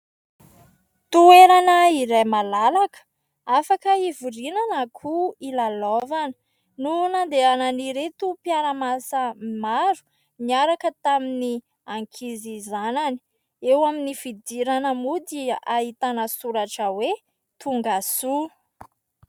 Toerana iray malalaka, afaka hivoriana na koa hilalaovana no nandehanan'ireto mpiara-miasa maro niaraka tamin'ny ankizy zanany. Eo amin'ny fidirana moa dia ahitana soratra hoe : "tonga soa".